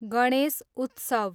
गणेश उत्सव